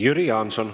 Jüri Jaanson.